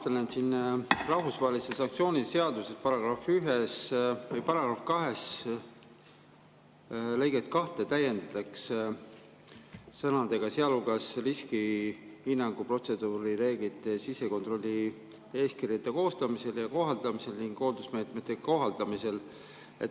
Ma vaatan, et rahvusvahelise sanktsiooni seaduse § 2 lõiget 2 täiendatakse sõnadega "sealhulgas riskihinnangu, protseduurireeglite ja sisekontrollieeskirja koostamisel ja kohaldamisel ning hoolsusmeetmete kohaldamisel".